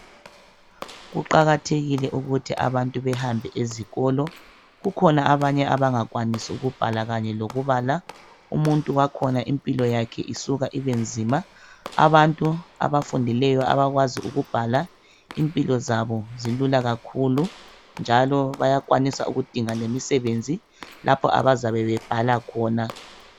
Kuqakathekile ukuthi abantu behambe ezikolo kukhona abanye abangakwanisi ukubhala kanye lokubala umuntu wakhona impilo yakhe isuka ibenzima abantu abafundileyo abakwazi ukubhala impilo zabo zilula kakhulu njalo bayakwanisa ukudinga lemisebenzi lapho abazabe bebhala khona.